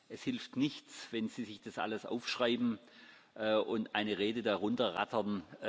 Es hilft nichts, wenn Sie sich das alles aufschreiben und eine Rede runterrattern.